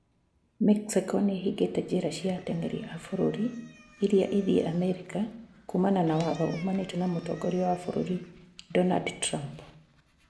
Mexico nĩhingĩte njĩra cia atengeri a bũrũri irĩa ithiĩ Amerika kumana na watho umanĩte na mũtongoria wa bũrũri Donald Trump